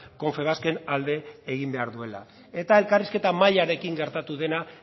confebasken alde egin behar duela eta elkarrizketa mahaiarekin gertatu dena